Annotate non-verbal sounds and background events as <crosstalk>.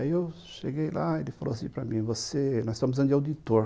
Aí eu cheguei lá e ele falou assim para mim, você... Nós estamos <unintelligible>